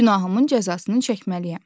günahımın cəzasını çəkməliyəm.